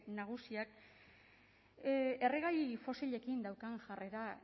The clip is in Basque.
nagusiak erregai fosilekin daukan jarrera